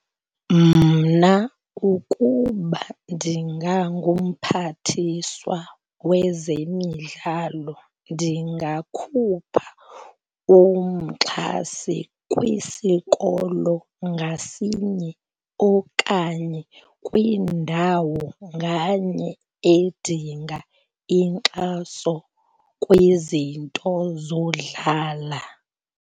Mna ukuba ndingangumphathiswa wezemidlalo ndingakhupha umxhasi kwisikolo ngasinye okanye kwindawo nganye edinga inkxaso kwizinto zodlala.